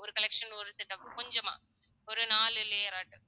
ஒரு collection ஒரு set of கொஞ்சமா ஒரு நாலு layer ஆட்ட